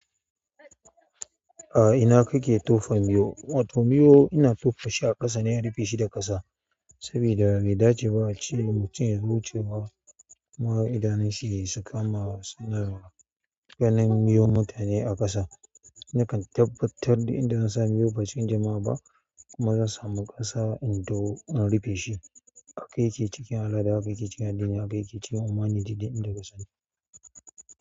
A ina kake tofa miyo? Wato miyo ina tofa shi a ƙasa ne in rufe shi da ƙasa saboda bai dace ba ace ma mutum yazo wucewa kuma idanunshi su kama ganin miyon mutane a ƙasa, na kan tabbatar duk inda zan sa miyo ba cikin jama'a ba. Kuma zan samu ƙasa in ɗau, in rufe shi. Haka yake cikin al'ada, haka yake cikin addini, haka yake cikin humanity duk inda ka sani.